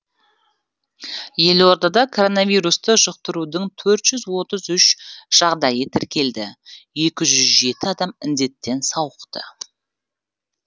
елордада коронавирусты жұқтырудың төрт жүз отыз үш жағдайы тіркелді екі жүз жеті адам індеттен сауықты